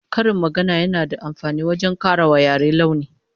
Karin magana yana da amfani wajen kara wa yare launi